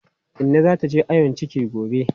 Inna za ta je ayon ciki gobe.